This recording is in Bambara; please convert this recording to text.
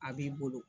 A b'i bolo